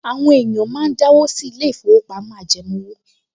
Àwọn èèyàn máa ń dáwó sí ilé-ìfowópamọ́ ajẹmówò